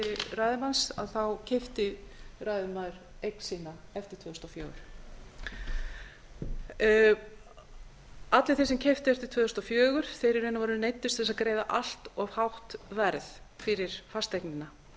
ræðumanns keypti ræðumaður eign sína eftir tvö þúsund og fjögur allir þeir sem keyptu eftir tvö þúsund og fjögur neyddust í raun og veru til þess að greiða allt of hátt verð fyrir fasteignina